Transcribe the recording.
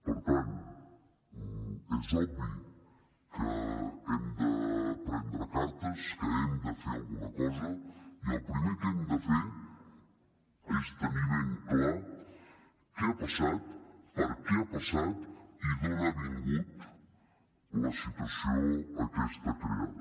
per tant és obvi que hem de prendre cartes que hem de fer alguna cosa i el primer que hem de fer és tenir ben clar què ha passat per què ha passat i d’on ha vingut la situació aquesta creada